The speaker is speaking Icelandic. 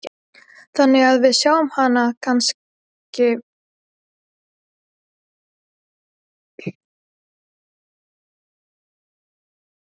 Þannig að við sjáum hann kannski bara hérna næsta sumar?